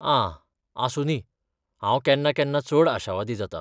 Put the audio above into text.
आ, आसूं दी! हांव केन्ना केन्ना चड आशावादी जातां.